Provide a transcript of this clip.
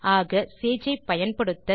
ஆக சேஜை பயன்படுத்த